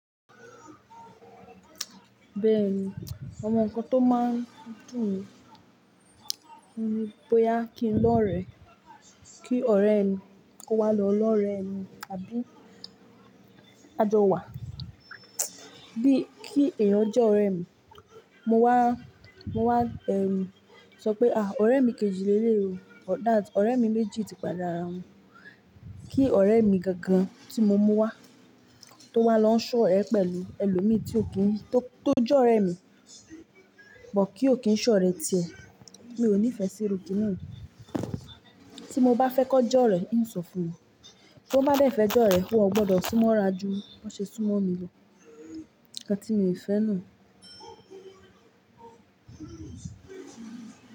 Béèni ọmọ ńkan tó máa ń dùn mí bóyá kí n lọ rẹ̀, kí ọ̀rẹ́ mi kó wá lọ lọ rẹ̀ mi, àbí ka jò wà, bí kí ẹ̀yin jẹ́ ọ̀rẹ́ mi, mo wá, mo wá, sọ pé ọ̀rẹ́ mi kejì lé lè o, that ọ̀rẹ́ mi méjì ti padà ára wọn, kí ọ̀rẹ́ mi gan gan tí mo mú wá tó wá lọ ń ṣọ̀rẹ́ pẹ̀lú ẹlòmíì tí ò kí n tó, tó jẹ́ ọ̀rẹ́ mi, but kí ò kí ń ṣọ̀rẹ́ tirẹ̀, mi ò ní ìfẹ́ sí erù kín yen. Tí mo bá fẹ́ kó jọ́rẹ́ n ó ń sọ fún won, tan bá dẹ̀ fẹ́ jọ́rẹ́, won gbọdọ̀ súnmọ́ ra ju bi wọ́n ṣe súnmọ́ mi lọ, nnkan ti mí ò fẹ́ nu.